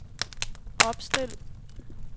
opstil